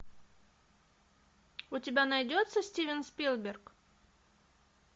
у тебя найдется стивен спилберг